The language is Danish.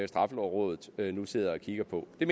straffelovrådet nu sidder og kigger på det